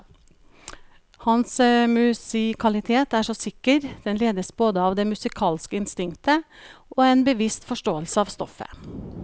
Hans musikalitet er så sikker, den ledes både av det musikalske instinktet og en bevisst forståelse av stoffet.